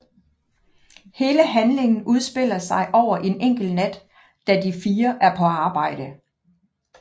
Hele handlingen udspiller sig over en enkelt nat da de fire er på arbejde